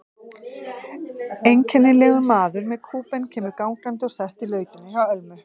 Einkennilegur maður með kúbein kemur gangandi og sest í lautina hjá Ölmu.